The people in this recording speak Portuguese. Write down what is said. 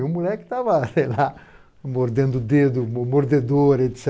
E o moleque estava, sei lá, mordendo o dedo, mo mordedor, et cetera.